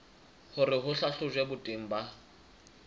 hore ho hlahlojwe boteng ba